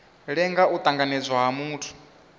lenga u tanganedzwa ha muthu